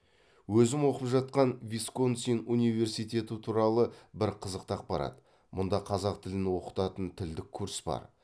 өзім оқып жатқан висконсин университеті туралы бір қызықты ақпарат мұнда қазақ тілін оқытатын тілдік курс бар